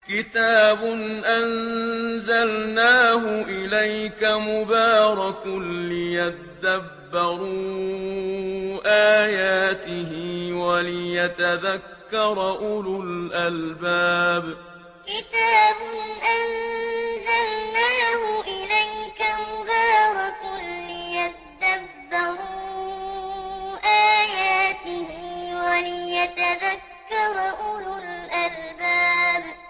كِتَابٌ أَنزَلْنَاهُ إِلَيْكَ مُبَارَكٌ لِّيَدَّبَّرُوا آيَاتِهِ وَلِيَتَذَكَّرَ أُولُو الْأَلْبَابِ كِتَابٌ أَنزَلْنَاهُ إِلَيْكَ مُبَارَكٌ لِّيَدَّبَّرُوا آيَاتِهِ وَلِيَتَذَكَّرَ أُولُو الْأَلْبَابِ